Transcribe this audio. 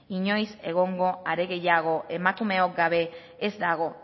inoiz egongo are gehiago emakumeok gabe ez dago